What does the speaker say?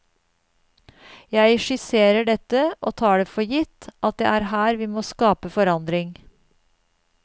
Jeg skisserer dette og tar det for gitt at det er her vi må skape forandring.